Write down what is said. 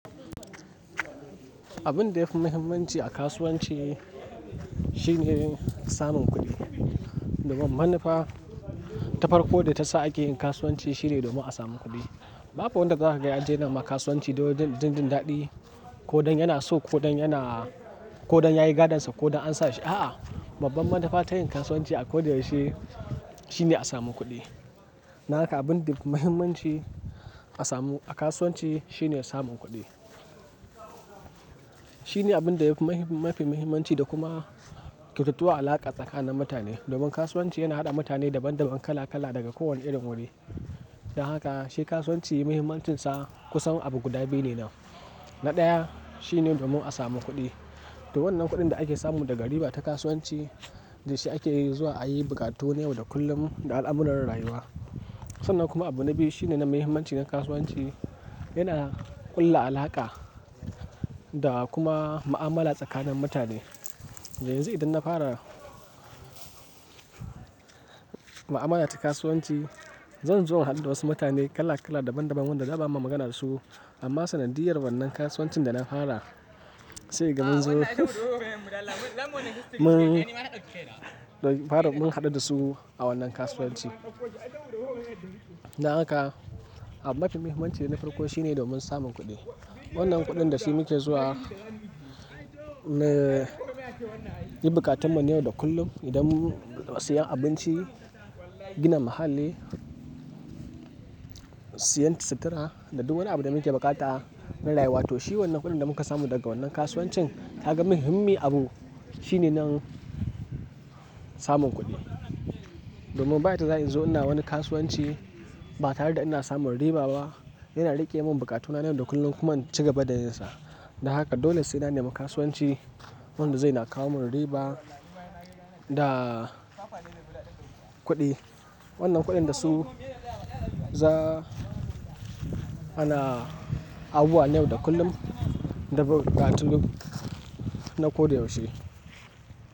Abin da yafi muhimmanci a kasuwanci shine samun kuɗi. Domin manufa ta farko da ta sa ake yin kasuwanci shine domin a samu kuɗi. Babu wanda za ka ga nema kasuwanci domin jin daɗi ko don yana so ko don yana-- ko don yayi gadonsa ko don an sa shi, a'a. Babban manufa ta yin kasuwanci a ko da yaushe shine a samu kuɗi. Na haka abin da yafi muhimmanci a samu a kasuwanci shine samun kuɗi. Shine abin da yafi mafi muhimmanci da kuma kyautattuwa alaƙa tsakanin mutane. Domin kasuwanci yana haɗa mutane daban daban, kala kala daga kowane irin wuri. Na haka shi kasuwanci muhimmancinsa kusan abu guda biyu ne nan. Na ɗaya shine domin a samu kuɗi. To wannan kuɗin da ake samu daga riba ta kasuwanci da shi ake zuwa a yi buƙatu ne yau da kullum na al'amuran rayuwa. Sannan kuma abu na biyu shine nan muhimmanci na kasuwanci yana ƙulla alaƙa da kuma ma'amala tsakanin mutane. Yanzu idan na fara ma'amala ta kasuwanci, zan zo na haɗu da wasu mutane kala kala, daban daban wanda da ba ma magana da su amma sanadiyyar wannan kasuwancin da na fara sai kaga munzo mun-- fara mun haɗu da su a wannan kasuwanci. Na haka abu mafi muhimmanci na farko shine domin samun kuɗi. Wannan kuɗin da shi muke zuwa na yin buƙatunmu yau da kullum. Idan mu-- siyan abinci, gina muhalli, siyan sutura da duk wani abu da muke buƙata na rayuwa to shi wannan kuɗin da muka samu daga wannan kasuwancin ka ga muhimmi abu shine nan samun kuɗi. Domin ba yadda za'ayi in zo i na wani kasuwanci ba tare da ina samun riba ba, yana riƙe mun bukatuna na yau da kullum kuma in cigaba da yinsa. Na haka dole sai na nema kasuwanci wanda zai na kawo mun riba da kuɗi. Wannan kuɗin da su za ana a buwa yau da kullum da buƙatun na ko da yaushe.